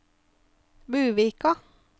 Buvika